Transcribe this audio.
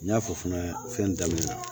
N y'a fɔ fana fɛn daminɛ